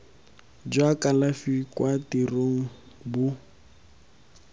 jwa kalafi kwa tirong bo